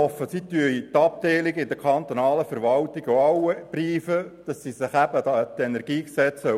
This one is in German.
Ich hoffe, dass Sie die Abteilungen in der kantonalen Verwaltung instruieren, sich auch an das KEnG zu halten.